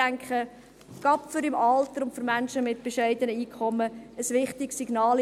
Ich denke, das ist gerade im Alter und für Menschen mit bescheidenem Einkommen ein wichtiges Signal.